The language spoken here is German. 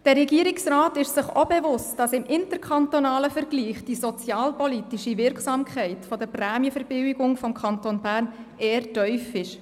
Der Regierungsrat ist sich auch bewusst, dass die sozialpolitische Wirksamkeit der Prämienverbilligung des Kantons Bern im interkantonalen Vergleich eher tief ist.